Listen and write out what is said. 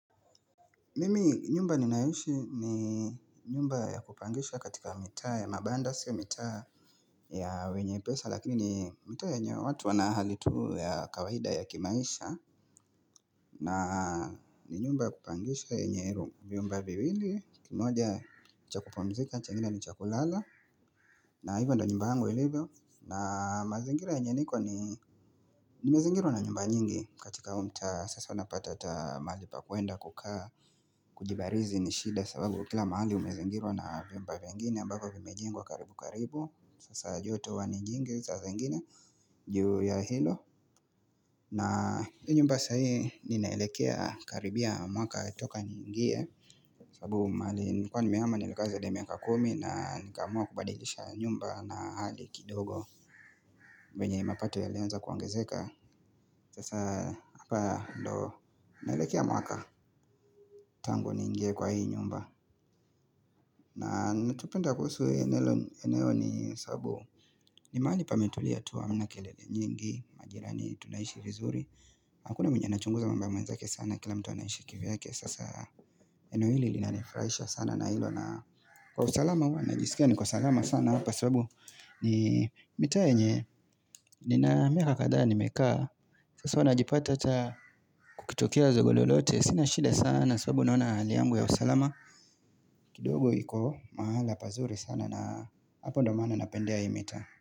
Mimi nyumba ninayoishi ni nyumba ya kupangisha katika mitaa ya mabanda siyo mitaa ya wenye pesa lakini ni mitaa yenye watu wanahali tuu ya kawaida ya kimaisha na ni nyumba ya kupangisha yenye room, vyumba viwili kimoja cha kupumzika chengine ni chakulala na hivyo ndo nyumba yangu ilivyo na mazingira yenye niko ni Nimezingirwa na nyumba nyingi katika huu mtaa sasa unapata hata Mahalipa kwenda kukaa Kujibarizi nishida sababu kila mahali Umezingirwa na vyumba vingine ambavyo vimejengwa karibu karibu saa joto huwa ni nyingi sasa zingine juu ya hilo na hiyo nyumba sahii ninaelekea Karibia mwaka toka niingie sababu mahali nilikuwa nimehama nimekaa zaidi ya miaka kumi na nikamua kubadilisha nyumba na hali kidogo vyenye mapato ya lianza kuongezeka Sasa hapa ndo naelekea mwaka Tangu niingie kwa hii nyumba na nitupenda kuhusu hii eneo ni sabu ni mahali pametulia tu hamna kelele nyingi Majira ni tunaishi vizuri Hakuna mwenye anachunguza mambo mwenzake sana Kila mtu anaishi kivyake Sasa eneo hili linanifurahisha sana na hilo na kwa usalama huwa najiskia niko salama sana Hapa sababu ni mitaa yenye, nina miaka kadhaa nimekaa, sasa wanajipata ata kukitokea zogo lolote, sina shida sana, sababu naona hali yangu ya usalama. Kidogo iko mahala pazuri sana na hapo ndo maana napendea hii mitaa.